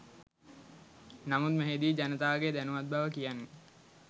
නමුත් මෙහි දී ජනතාවගේ දැනුවත් බව කියන්නෙ